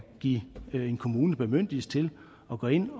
give en kommune bemyndigelse til at gå ind